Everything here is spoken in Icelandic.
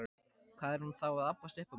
Hvað er hún þá að abbast upp á mig?